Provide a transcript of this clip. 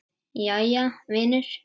Jæja, vinur.